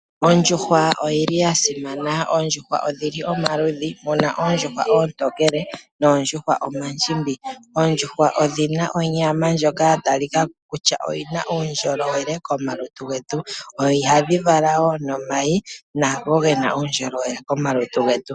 Oondjuhwa odhi li dha simana, na otu dhi na omaludhi. Otu na oondjuhwa oontokele naadhoka oondjimbi molwaala. Onyama nomayi goondjuhwa oya talika ko kutya oyi na uundjolowele na otayi tungu omalutu getu.